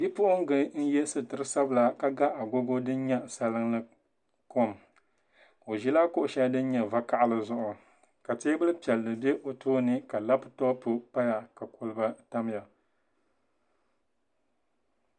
Bipuɣungi n yɛ sitiri sabila ka ga agogo din nyɛ zaɣ sabinli o ʒila kuɣu shɛli din nyɛ vakaɣali zuɣu ka teebuli piɛlli bɛ o tooni ka labtop paya ka kolba tamya